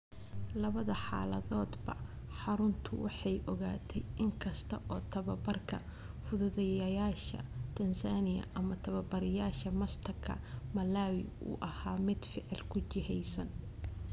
Labada xaaladoodba, xaruntu waxay ogaatay, in kasta oo tababbarka Fududeeyayaasha (Tanzania) ama Tababarayaasha Master-ka (Malawi) uu ahaa mid ficil ku jihaysan.